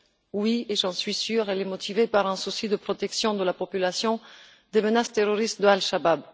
Oui, j'en suis sûre, elle est motivée par un souci de protection de la population des menaces terroristes d'Al Chabab.